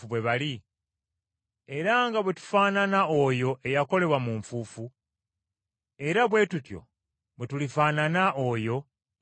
Era nga bwe tufaanana oyo eyakolebwa mu nfuufu, era bwe tutyo bwe tulifaanana oyo eyava mu ggulu.